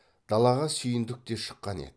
далаға сүйіндік те шыққан еді